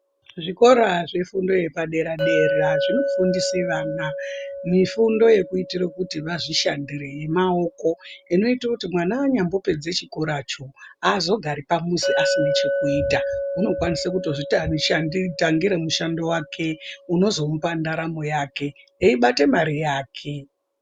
Zvifundo zvefundo yepadera dera zvinofundisa vana mifundo yekuitira kuti vazvishandire yemaoko inoita kuti mwana anyambopedza chikora cho haazogari pamuzi asina chokuita unokwanisa kutozvitsvakira mushando wake unozomupa ndaramo yake eibate mari yake.